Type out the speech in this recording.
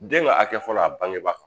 Den ka a hakɛ fɔlɔ a bangeba kan